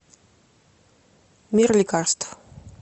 мир лекарств